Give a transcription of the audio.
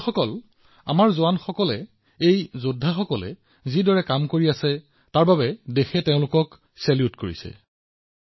বন্ধুসকল এই যোদ্ধাসকলে কৰা কামৰ বাবে দেশে এই জোৱানসকলক অভিবাদন জনাইছে